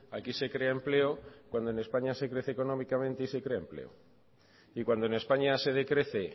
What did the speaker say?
aquí se crea empleo cuando en españa se crece económicamente y se crea empleo y cuando en españa se decrece